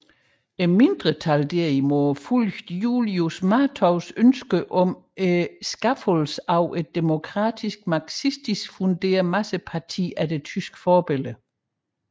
Mindretallet derimod fulgte Julius Martovs ønsker om skabelse af et demokratisk marxistisk funderet masseparti efter tysk forbillede